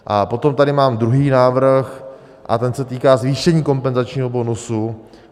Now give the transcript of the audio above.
A potom tady mám druhý návrh a ten se týká zvýšení kompenzačního bonusu.